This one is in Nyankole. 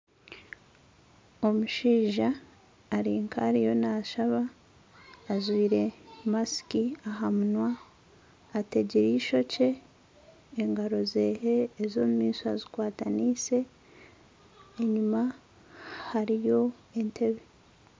Omushaija ari nk'ariyo naashaba ajwire masiki aha munwa ategire ishokye engaro ze ez'omumaisho azikwatanise enyuma hariyo entebe.